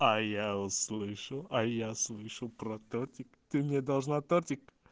а я услышу а я слышу про тортик ты мне должна тортик